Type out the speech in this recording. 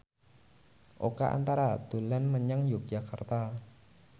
Oka Antara dolan menyang Yogyakarta